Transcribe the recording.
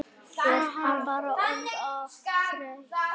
Hún bara orðin of þreytt.